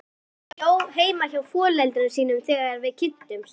Hún bjó heima hjá foreldrum sínum þegar við kynntumst.